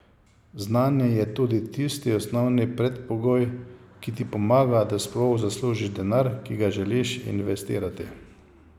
Znanje je tudi tisti osnovni predpogoj, ki ti pomaga, da sploh zaslužiš denar, ki ga želiš investirati.